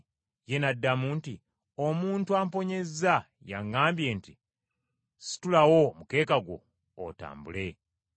Ye n’addamu nti, “Omuntu amponyezza y’aŋŋambye nti, ‘Situlawo omukeeka gwo otambule.’ ”